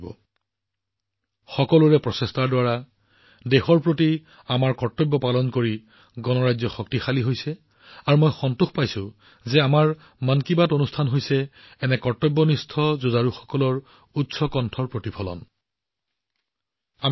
গণৰাজ্য জনসাধাৰণৰ অংশগ্ৰহণৰ দ্বাৰা সকলোৰে প্ৰচেষ্টাৰ দ্বাৰা দেশৰ প্ৰতি নিজৰ কৰ্তব্য পালন কৰাৰ দ্বাৰা শক্তিশালী হৈ পৰে আৰু আমাৰ মন কী বাত এনে কৰ্তব্যনিষ্ঠ যুঁজাৰুসকলৰ জোৰদাৰ কণ্ঠস্বৰ হৈ পৰাত মই সুখী অনুভৱ কৰিছো